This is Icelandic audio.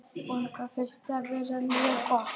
Unglingastarfið virðist vera mjög gott.